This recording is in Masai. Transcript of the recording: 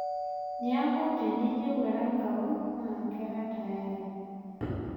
niaku tenayieu Erankau naa kara tayari